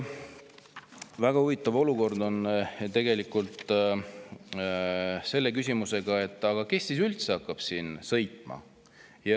Väga huvitav olukord on selle küsimusega, kes üldse hakkab seal sõitma.